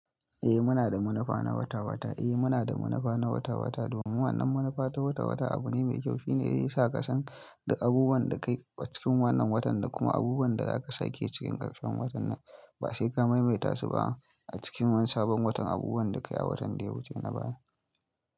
Eh muna da munafa na wata-wata. Eh muna da munafa na wata-wata domin wannan munafa ta wata-wata abu ne mai kyau. Shi ne zai sa ka san duk abubuwan da ka yi a cikin wannan watan da kuma abubuwan da za ka sake cikin ƙarshen watan nan. Ba sai ka maimaita su ba a cikin wani sabon watan. Abubuwan da ka yi a watan da ya wuce na baya.